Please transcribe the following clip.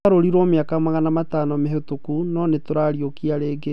wagarũriro mĩaka magana matano mĩhĩtũku, no nĩtũrarĩũkia rĩngĩ